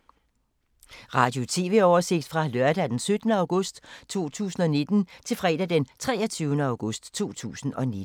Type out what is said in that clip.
Radio/TV oversigt fra lørdag d. 17. august 2019 til fredag d. 23. august 2019